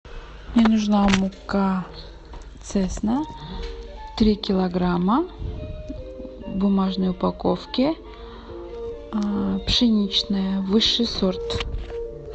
мне нужна мука цесна три килограмма в бумажной упаковке пшеничная высший сорт